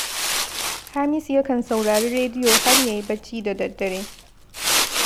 Hamisu yakan saurari rediyo har ya yi barci da daddare